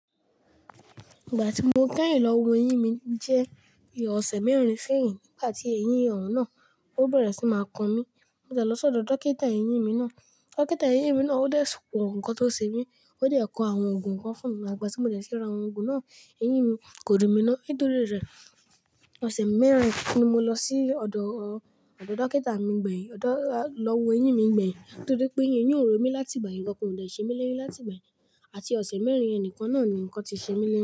Ìgbà tí mo kẹ́yìn lọ wo eyín mi jẹ́ ìwọ ọ̀sẹ̀ mẹ́rin séyìn, nígbà tí eyín ọ̀hun náà ó bẹ̀rẹ̀ sí máa kan mí. Mo de lọ sọ́dọ̀ dókítà eyín mi náà. Dókítà eyín mi náà ó dá ẹ̀ sù wọ̀ ǹkan tó ṣe mí, ó de kọ àwọn òògùn kan fún mi igbà tí mo dé ti rà àwọn òògùn náà, eyín mi kò du mi náà nítorí rẹ̀. Ọ̀sẹ̀ mẹ́rin ni mo lọ sí ọ̀dọ̀, ọ̀dọ̀ dókítà mi gbẹ̀yìn, lọ wo eyín mi gbẹ̀yìn nítorí pé eyín ò rò mí láti ìgbà yẹn, ǹkan kò ṣe mí lẹ́yìn láti ìgbà yẹn àti ọ̀sẹ̀ mẹ́rin nìkan náà ni ǹkan ti ṣe mí lẹ́yìn.